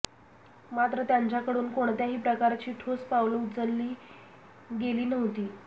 मात्र त्यांच्याकडून कोणत्याही प्रकारची ठोस पाऊलं उचलली गेली नव्हती